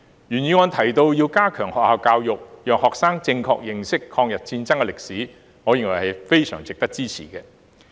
原議案提到要加強學校教育，讓學生正確認識抗日戰爭歷史，我認為值得支持。